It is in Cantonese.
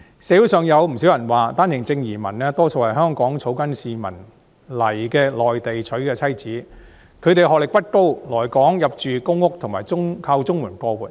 社會上有不少人說，單程證移民大多數是香港草根市民在內地娶的妻子，她們的學歷不高，來港入住公屋及靠綜合社會保障援助過活。